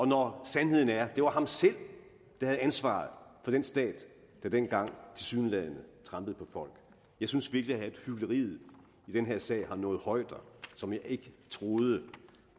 når sandheden er at det var ham selv der havde ansvaret for den stat der dengang tilsyneladende trampede på folk jeg synes virkelig at hykleriet i den her sag har nået højder som jeg ikke troede